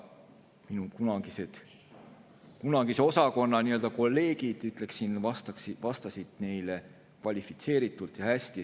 Minu kunagised kolleegid, ütleksin, vastasid neile kvalifitseeritult ja hästi.